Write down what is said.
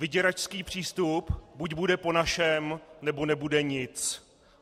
Vyděračský přístup: buď bude po našem, nebo nebude nic.